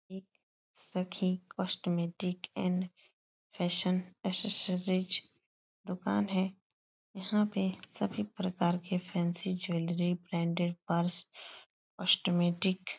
एक Sakhi cosmetic and fashion accessories दुकान है। यहां पे सभी प्रकार के fancy jewellery branded purse cosmetic --